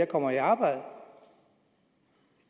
kommer i arbejde